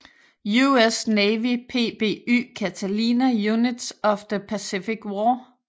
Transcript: US Navy PBY Catalina Units of the Pacific War